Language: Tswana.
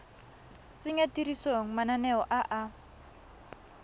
tsenya tirisong mananeo a a